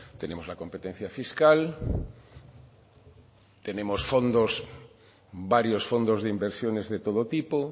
tenemos la competencia fiscal tenemos fondos varios fondos de inversiones de todo tipo